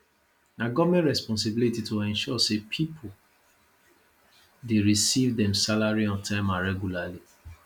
na government responsibility to ensure say people dey receive dem salary on time or regularly